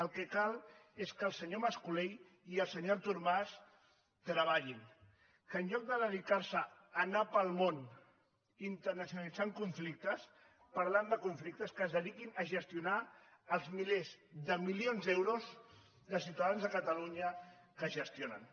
el que cal és que el senyor mas colell i el senyor artur mas treballin que en lloc de dedicar se a anar pel món internacionalitzant conflictes parlant de conflictes que es dediquin a gestionar els milers de milions d’euros de ciutadans de catalunya que gestionen